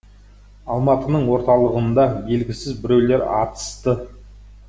алматының орталығында белгісіз біреулер атысты